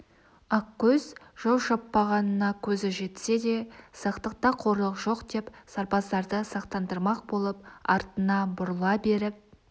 ақкөз жау шаппағанына көзі жетсе де сақтықта қорлық жоқ деп сарбаздарды сақтандырмақ болып артына бұрыла беріп